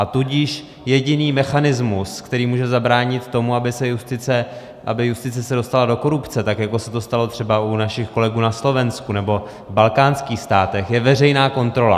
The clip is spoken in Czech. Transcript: A tudíž jediný mechanismus, který může zabránit tomu, aby justice se dostala do korupce, tak jako se to stalo třeba u našich kolegů na Slovensku nebo v balkánských státech, je veřejná kontrola.